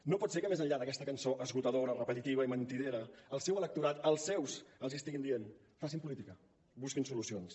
no pot ser que més enllà d’aquesta cançó esgotadora repetitiva i mentidera el seu electorat els seus els hi estiguin dient facin política busquin solucions